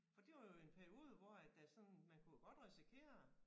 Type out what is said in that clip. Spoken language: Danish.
For det var jo en periode hvor at der sådan man kunne jo godt risikere